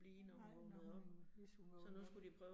Nej, når hun, hvis hun vågnede